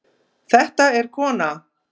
Þetta er kona.